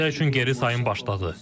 Rusiyaya üçün geri sayım başladı.